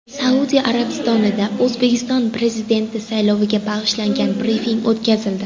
Saudiya Arabistonida O‘zbekiston Prezidenti sayloviga bag‘ishlangan brifing o‘tkazildi.